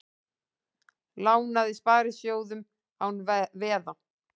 Lánaði sparisjóðum án veða